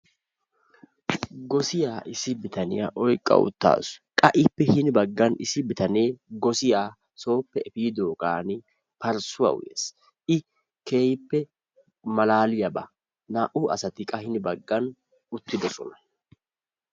gossiya issi bitaniya oyqqa utaasu , qassi hini bagaara issi bitanee parssuwa uyees, qassi naa'u asati utttidosona, malaaliyaba.